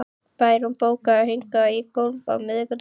Bæron, bókaðu hring í golf á miðvikudaginn.